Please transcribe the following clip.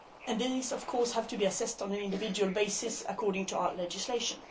These have to be assessed on an individual basis according to our legislation.